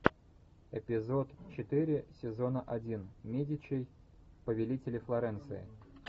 эпизод четыре сезона один медичи повелители флоренции